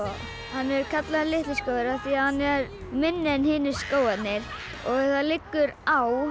hann er kallaður litli skógur af því hann er minni en hinir skógarnir það liggur á